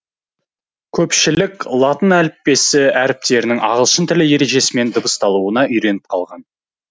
көпшілік латын әліппесі әріптерінің ағылшын тілі ережесімен дыбысталуына үйреніп қалған